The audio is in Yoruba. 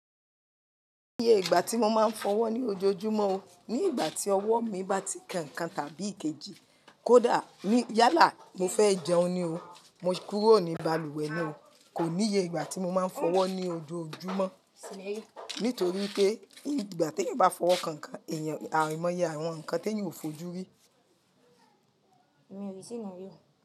Kò níye ìgbà tí mo máa ń fọwọ́ ní ojoojúmọ́ o. Ní ìgbà tí ọwọ́ mi bá ti kan-kan tàbí ìkejì, kódà ní yálà mo fẹ́ jẹun ni o. Mo kúrò ní balùwẹ̀ ni o. Kò níye ìgbà tí mo máa ń fọwọ́ ní ojoojúmọ́. Nítorí pé ní ìgbà tí ẹ bá fọwọ́ kankan, ẹ̀yàn, àrẹ̀mọ yẹ àwọn nǹkan tí ẹ ò fojú rí.